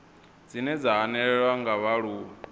dzine dza hanelelwa nga vhaaluwa